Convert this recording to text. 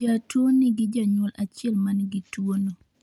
jatuwo nigi janyuol achiel manigi tuwono